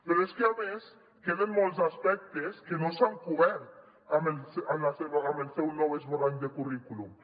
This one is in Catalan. però és que a més queden molts aspectes que no s’han cobert amb el seu nou esborrany de currículum